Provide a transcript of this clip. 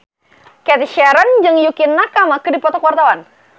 Cathy Sharon jeung Yukie Nakama keur dipoto ku wartawan